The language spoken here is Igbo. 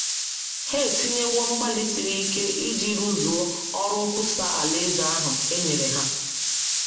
Ha etinyewo mgbalị siri ike iji rụzuo ọrụ nkwusa Alaeze ahụ e nyere ha.